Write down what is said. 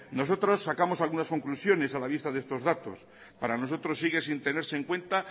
nosotros sacamos algunas conclusiones a la vista de estos datos para nosotros sigue sin tenerse en cuenta